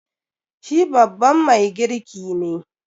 Shi babban mai girki ne.